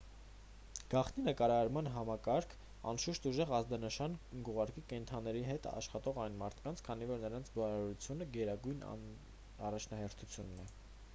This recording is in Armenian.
գաղտնի նկարահանման համակարգն անշուշտ ուժեղ ազդանշան կուղարկի կենդանիների հետ աշխատող այս մարդկանց քանի որ նրանց բարօրությունը գերագույն առաջնահերթություն է